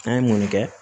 An ye mun kɛ